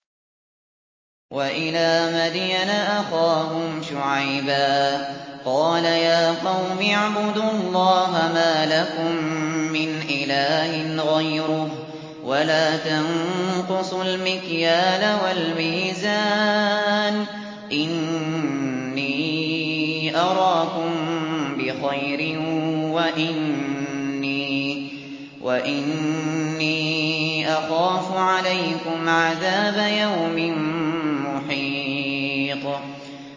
۞ وَإِلَىٰ مَدْيَنَ أَخَاهُمْ شُعَيْبًا ۚ قَالَ يَا قَوْمِ اعْبُدُوا اللَّهَ مَا لَكُم مِّنْ إِلَٰهٍ غَيْرُهُ ۖ وَلَا تَنقُصُوا الْمِكْيَالَ وَالْمِيزَانَ ۚ إِنِّي أَرَاكُم بِخَيْرٍ وَإِنِّي أَخَافُ عَلَيْكُمْ عَذَابَ يَوْمٍ مُّحِيطٍ